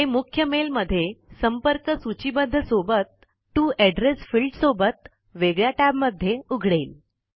हे मुख्य मेल मध्येसंपर्क सूचीबद्ध सोबतTo एड्रैस फील्ड सोबत वेगळ्या टैब मध्ये उघडेल